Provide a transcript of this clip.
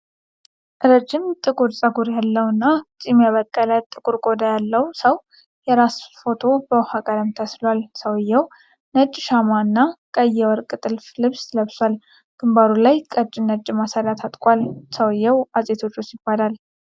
ረጅም ጥቁር ፀጉር ያለው እና ጢም ያበቀለ ጥቁር ቆዳ ያለው ሰው የራስ ፎቶ በውኃ ቀለም ተስሏል። ሰውዬው ነጭ ሻማ እና ቀይ የወርቅ ጥልፍ ልብስ ለብሷል። ግንባሩ ላይ ቀጭን ነጭ ማሰሪያ ታጥቋል። ሰውዬው እጽ ቴዎድሮስ ይባላል።